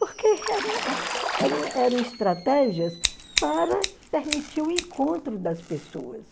Porque eram eram eram estratégias para permitir o encontro das pessoas.